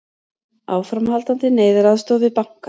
Áframhaldandi neyðaraðstoð við banka